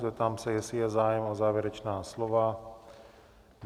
Zeptám se, jestli je zájem o závěrečná slova?